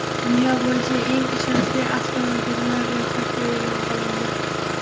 Dunyo bo‘yicha eng ishonchli avtomobillar ro‘yxati e’lon qilindi.